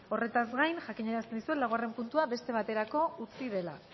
horretaz gain jakinarazten dizuet laugarren puntua beste baterako utzi dela